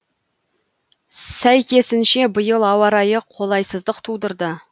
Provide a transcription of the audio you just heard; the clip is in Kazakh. сәйкесінше биыл ауа райы қолайсыздық тудырды